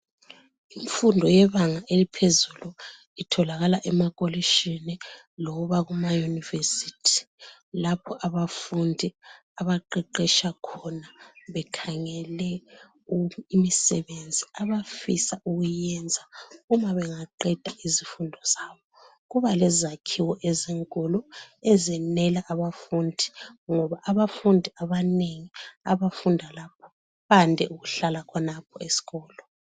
Imfundo yebanga eliphezulu itholakala emakolitshini loba kuma yunivesithi lapho abafundi abaqeqetsha khona bekhangele imisebenzi abafisa ukuyenza uma bengaqeda izifundo zabo. Kuba lezakhiwo ezinkulu ezenela abafundi, ngoba abafundi abanengi abafunda lapho, bande ukuhlala khonapho esikolo